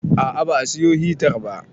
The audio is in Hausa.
A'a ba a siyo hitar ba